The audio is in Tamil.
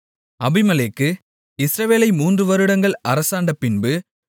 அபிமெலேக்கு இஸ்ரவேலை மூன்று வருடங்கள் அரசாண்டபின்பு